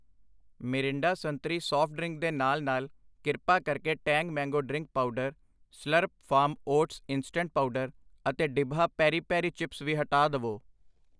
Mirinda ਸੰਤਰੀ soft drink ਦੇ ਨਾਲ ਨਾਲ ਕ੍ਰਿਪਾ ਕਰਕੇ Tang mango drink powder, Slurrp Farm oats instant powder ਅਤੇ ਡਿਬਹਾ ਪੇਰੀ ਪੇਰੀ ਚਿਪਸ ਵੀ ਹਟਾ ਦਵੋ I